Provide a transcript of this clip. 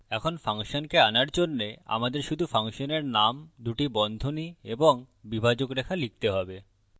এখন ফাংশনকে আনার জন্যে আমাদের শুধু ফাংশনের name দুটি বন্ধনী এবং বিভাজক রেখা লিখতে হবে